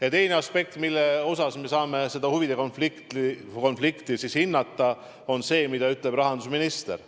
Ja teine aspekt, millest lähtudes me saame huvide konflikti hinnata, on see, mida ütleb rahandusminister.